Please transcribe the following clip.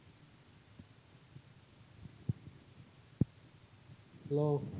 Hello